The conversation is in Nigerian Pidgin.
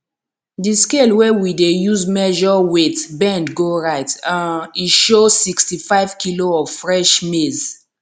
di scale wey we dey use measure weight bend go right um e show sixtyfive kilo of fresh maize